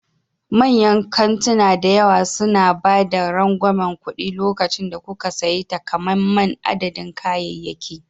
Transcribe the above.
Manyan kantuna da yawa suna ba da rangwamen kuɗi lokacin da kuka sayi takamaiman adadin kayayyaki.